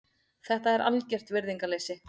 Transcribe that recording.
Þetta er algert virðingarleysi.